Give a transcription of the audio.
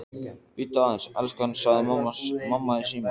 Bíddu aðeins, elskan, sagði mamma í símann.